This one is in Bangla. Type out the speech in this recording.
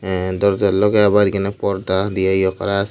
এ দরজার লগে আবার এখানে পর্দা দিয়ে ইয়ে করা আছে।